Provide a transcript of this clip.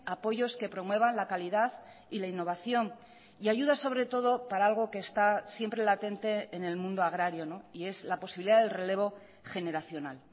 apoyos que promuevan la calidad y la innovación y ayudas sobre todo para algo que está siempre latente en el mundo agrario y es la posibilidad del relevo generacional